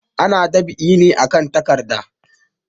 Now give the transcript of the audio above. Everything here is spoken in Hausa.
Ana dab'i ne akan takarda.